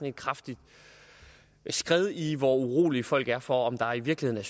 et kraftig skred i hvor urolige folk er for om der i virkeligheden